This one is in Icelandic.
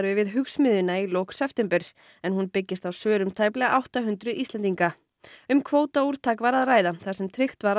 við Hugsmiðjuna í lok september en hún byggist á svörum tæplega átta hundruð Íslendinga um var að ræða þar sem tryggt var að